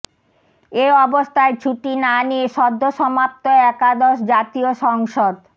এ অবস্থায় ছুটি না নিয়ে সদ্যসমাপ্ত একাদশ জাতীয় সংসদ